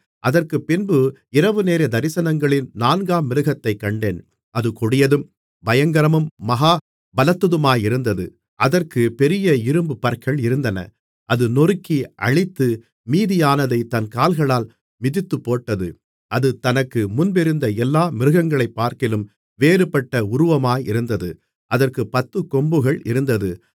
அதற்குப்பின்பு இரவுநேரத் தரிசனங்களில் நான்காம் மிருகத்தைக் கண்டேன் அது கொடியதும் பயங்கரமும் மகா பலத்ததுமாயிருந்தது அதற்குப் பெரிய இரும்புப் பற்கள் இருந்தன அது நொறுக்கி அழித்து மீதியானதைத் தன் கால்களால் மிதித்துப்போட்டது அது தனக்கு முன்பிருந்த எல்லா மிருகங்களைப்பார்க்கிலும் வேறுபட்ட உருவமாயிருந்தது அதற்குப் பத்துக் கொம்புகள் இருந்தது